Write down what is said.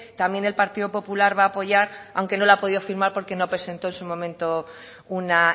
también el partido popular va a apoyar aunque no la ha podido firmar porque no presentó en su momento una